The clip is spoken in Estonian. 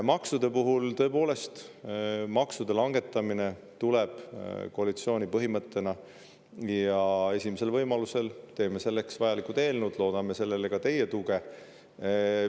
Maksudest rääkides, tõepoolest, maksude langetamine on koalitsiooni põhimõte ja esimesel võimalusel teeme selleks vajalikud eelnõud, loodame nendele ka teie tuge.